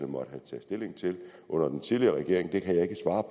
måtte have taget stilling til under den tidligere regering